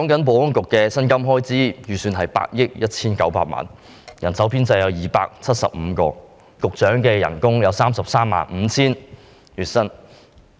保安局的薪金開支預算是8億 1,900 萬元，人手編制為270人，而局長的月薪是 335,000 元。